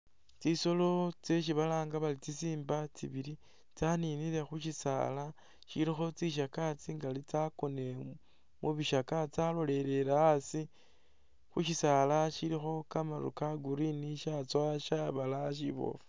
Tsisolo tseshi balanga bari tsisimba tsibili tsaninile khushila shilikho tsishaka tsingali tsakonele mubishaka tsalolele asi khushisala shilikho kamaru ka green katsowa shabalaya shibofu